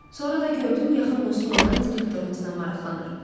Sonra da gördüm yaxın dostum olan direktorunuzla maraqlanır.